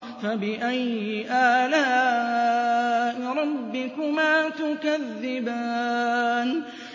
فَبِأَيِّ آلَاءِ رَبِّكُمَا تُكَذِّبَانِ